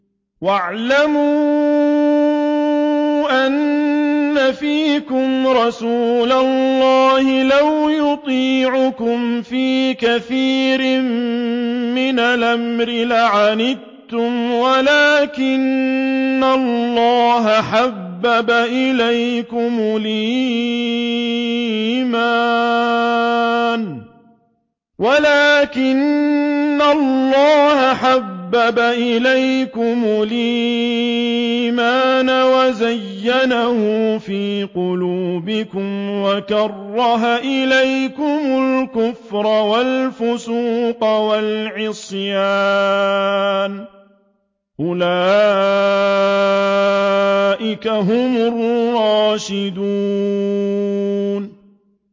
وَاعْلَمُوا أَنَّ فِيكُمْ رَسُولَ اللَّهِ ۚ لَوْ يُطِيعُكُمْ فِي كَثِيرٍ مِّنَ الْأَمْرِ لَعَنِتُّمْ وَلَٰكِنَّ اللَّهَ حَبَّبَ إِلَيْكُمُ الْإِيمَانَ وَزَيَّنَهُ فِي قُلُوبِكُمْ وَكَرَّهَ إِلَيْكُمُ الْكُفْرَ وَالْفُسُوقَ وَالْعِصْيَانَ ۚ أُولَٰئِكَ هُمُ الرَّاشِدُونَ